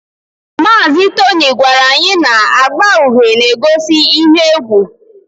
Mazị Tony gwara anyị na agba uhie na-egosi ihe egwu